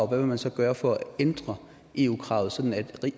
vil man så gøre for at ændre eu kravet sådan at